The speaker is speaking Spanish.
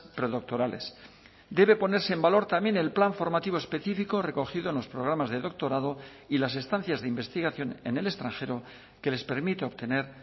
predoctorales debe ponerse en valor también el plan formativo específico recogido en los programas de doctorado y las estancias de investigación en el extranjero que les permite obtener